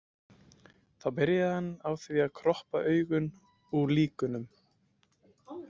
Þá byrji hann á því að kroppa augun úr líkunum.